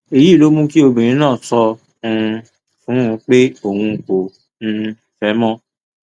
èyí ló mú kí obìnrin náà sọ um fún un pé òun kò um fẹ ẹ mọ